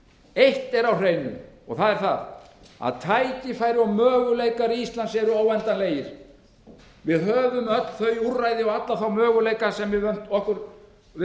eitt er á hreinu og það er að tækifæri og möguleikar íslands eru óendanleg við íslendingar höfum öll þau úrræði og alla þá möguleika sem við